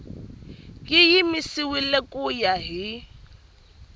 yi yimisiwile ku ya hi